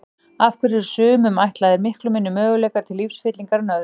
Af hverju eru sumum ætlaðir miklu minni möguleikar til lífsfyllingar en öðrum?